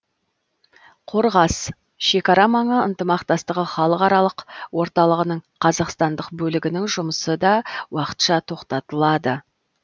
қорғас шекара маңы ынтымақтастығы халықаралық орталығының қазақстандық бөлігінің жұмысы да уақытша тоқтатылады